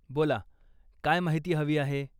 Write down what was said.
बोला, काय माहिती हवी आहे?